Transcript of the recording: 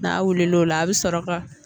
N'a wuli l'o la a bɛ sɔrɔ ka